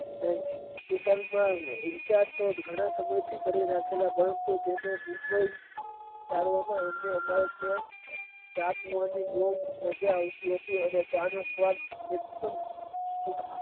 તે ઘણા સમય થી તેને mumbai જાણવાની માજા આવતી હતી અને ચા પીવા ની માજા આવતી હતી અને ચા નો સ્વાદ એકદમ